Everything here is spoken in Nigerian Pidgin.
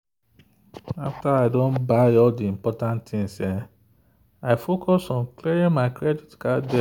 after i don buy all the important things i focus on clearing my credit card debt.